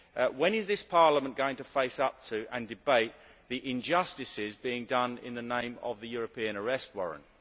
When is this Parliament going to face up to, and debate, the injustices being done in the name of the European Arrest Warrant?